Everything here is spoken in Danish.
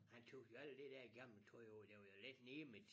Han tog jo alt det dér gammel tøj af det var jo lidt nemet